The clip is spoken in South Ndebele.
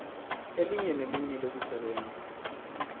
elinye nelinye lokusebenza